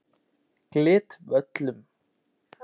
Glitvöllum